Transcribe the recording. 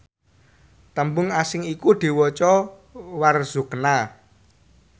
tembung asing iku diwaca warzuqna